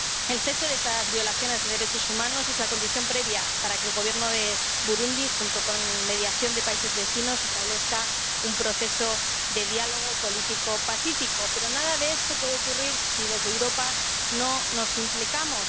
El cese de estas violaciones de derechos humanos es la condición previa para que el Gobierno de Burundi, con mediación de países vecinos, establezca un proceso de diálogo político pacífico. Pero nada de esto puede ocurrir si en Europa no nos implicamos.